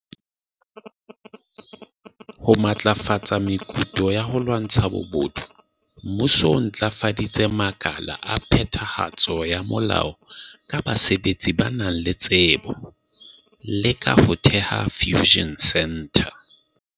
Ho matlafatsa mekutu ya ho lwantsha bobodu, Mmuso o ntlafaditse makala a phetha hatso ya molao ka basebetsi ba nang le tsebo, le ka ho theha Fusion Centre.